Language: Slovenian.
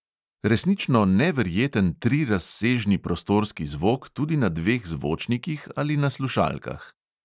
Resnično neverjeten trirazsežni prostorski zvok tudi na dveh zvočnikih ali na slušalkah.